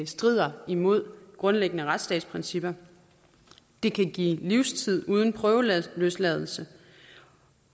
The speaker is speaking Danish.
strider imod grundlæggende retsstatsprincipper det kan give livstid uden prøveløsladelse